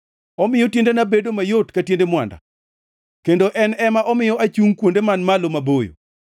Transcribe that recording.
Omiyo tiendena bedo mayot ka tiende mwanda; kendo en ema omiyo achungʼ kuonde man malo maboyo.